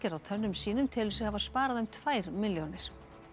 á tönnum sínum telur sig hafa sparað um tvær milljónir